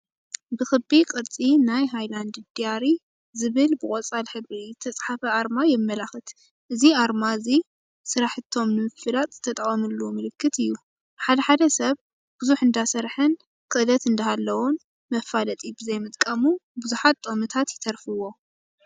ብክቢ ቅርፂ ናይ ሃይላንድ ድያሪ ዝብል ብቆፃል ሕብሪ ዝተፃሃፈ ኣርማ የማላኽት። እዚ ኣርማ እዚ ስራሕቲም ንምፍላጥ ዝተጠቀምሉ ምልክት እዩ። ሓደ ሓደ ሰብ ብዙሕ እንዳሰረሐን ኽእለት እንዳሃለወን መፋለጢ ብዘይምጥቃሙ ብዙሓት ጥቅምታት ይተርፍዎ።